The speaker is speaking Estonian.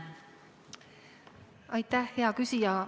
Aitäh, hea küsija!